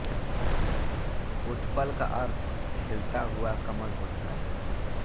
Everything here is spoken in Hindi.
उत्पल का अर्थ खिलता हुआ कमल होता है